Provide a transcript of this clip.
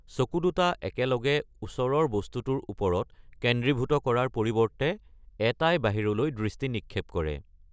চকু দুটা একেলগে ওচৰৰ বস্তুটোৰ ওপৰত কেন্দ্ৰীভূত কৰাৰ পৰিৱৰ্তে এটাই বাহিৰলৈ দৃষ্টি নিক্ষেপ কৰে।